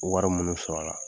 Wari munnu sɔrɔ la.